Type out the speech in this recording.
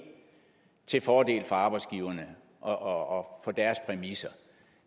til fordel for arbejdsgiverne og og på deres præmisser